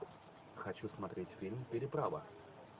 хочу смотреть фильм переправа